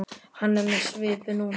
Hann er með svipu núna.